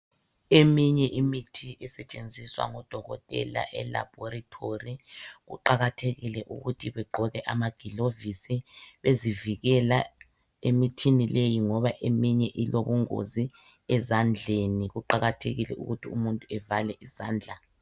Eminye imithi esetshenziswa ngodokotela elaboratory kuqakathekile ukuthi begqoke amagilovisi bezivikela emithini leyi ngoba eminye ilobungozi ezandleni kuqakathekile ukuthi umuntu evale izandla .